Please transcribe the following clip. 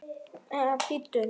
Eða bíddu, nei.